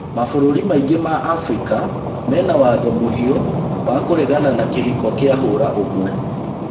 Mabũrũrĩ maingĩ ma Abirika mena watho mũhiũwa kũregana na kĩhiko kia hũra ũmwe.